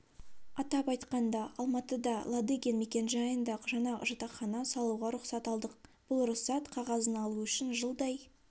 атап айтқанда алматыда ладыгин мекенжайында жаңа жатақхана салуға рұқсат алдық бұл рұқсат қағазын алу үшін жылдай